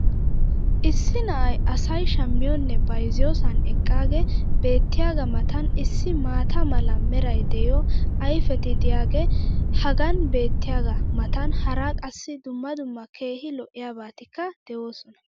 Issi na'ay asay shammiyoonne bayzziyoosan eqaagee beetiyaagaa matan issi maata mala meray de'iyo ayfetti diyaagee hagan beetiyaagaa matan hara qassi dumma dumma keehi lo'iyaabatikka de'oosona.